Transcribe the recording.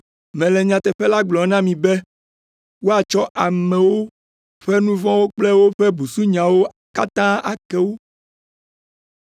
Mele nyateƒe la gblɔm na mi be woatsɔ amewo ƒe nu vɔ̃wo kple woƒe busunyawo katã ake wo,